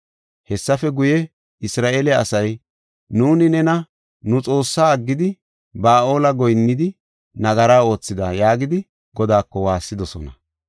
Hessafe guye, Isra7eele asay, “Nuuni nena nu Xoossaa aggidi, Ba7aale goyinnidi, nagara oothida” yaagidi Godaako waassidosona.